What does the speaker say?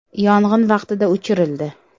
Yong‘in vaqtida o‘chirildi.